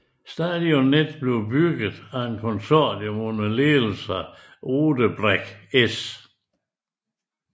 Stadionet blev bygget af et konsortium under ledelse af Odebrecht S